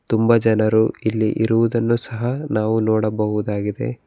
ತುಂಬ ಜನರು ಇಲ್ಲಿ ಇರುವುದನ್ನು ಸಹ ನಾವು ನೋಡಬಹುದಾಗಿದೆ.